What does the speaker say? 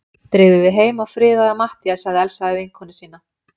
Drífðu þig heim og friðaðu Matthías sagði Elsa við vinkonu sína.